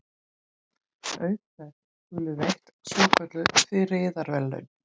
Auk þess skulu veitt svokölluð friðarverðlaun.